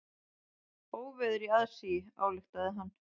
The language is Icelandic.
Óveður í aðsigi, ályktaði hann.